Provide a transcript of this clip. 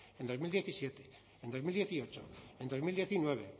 en dos mil diecisiete en dos mil dieciocho en dos mil diecinueve